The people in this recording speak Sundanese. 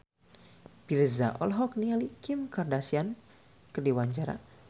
Virzha olohok ningali Kim Kardashian keur diwawancara